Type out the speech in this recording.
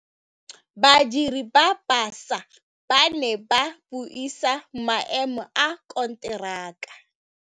Badiri ba baša ba ne ba buisa maêmô a konteraka.